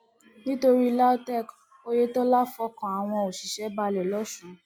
nítorí lautech oyetola fọkàn àwọn òṣìṣẹ balẹ lọsùn